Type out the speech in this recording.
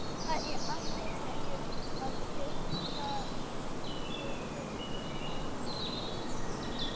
Það er alltaf verið að skipta um plötur á fóninum.